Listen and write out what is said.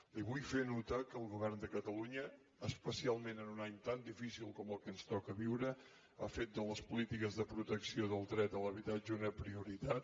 li vull fer notar que el govern de catalunya especialment en un any tan difícil com el que ens toca viure ha fet de les polítiques de protecció del dret a l’habitatge una prioritat